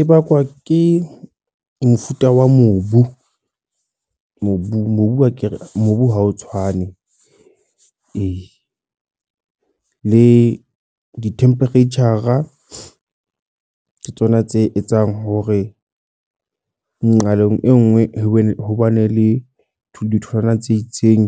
E bakwa ke mofuta wa mobu, mobung. Mobu ke mobu ha o tshwane. Ee, le di-temperature ke tsona tse etsang hore nqalong e nngwe hobane hobane le ditholwana tse itseng,